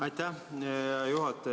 Aitäh, hea juhataja!